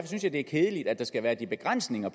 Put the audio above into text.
synes jeg det er kedeligt at der skal være de begrænsninger